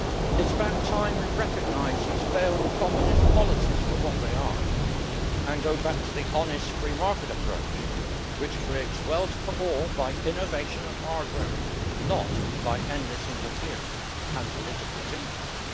It is about time we recognised these failed Communist policies for what they are and go back to the honest free market approach which creates wealth for all by innovation and hard work, not by endless interfering and political tinkering.